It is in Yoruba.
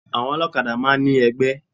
Àwọn olókadá máa n ní egbé